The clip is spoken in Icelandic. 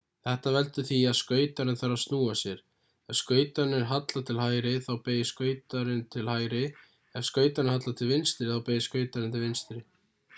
þetta veldur því að skautarinn þarf að snúa sér ef skautarnir halla til hægri þá beygir skautarinn til hægri ef skautarnir halla til vinstri þá beygir skautarinn til vinstri